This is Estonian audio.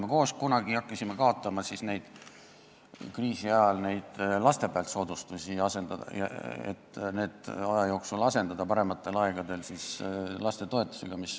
Me hakkasime kunagi kriisi ajal koos kaotama laste pealt tehtavaid soodustusi, et need aja jooksul, parematel aegadel asendada lapsetoetusega.